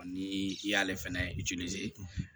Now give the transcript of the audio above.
Ni i y'ale fɛnɛ